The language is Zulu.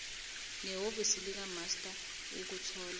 nehhovisi likamaster ukuthola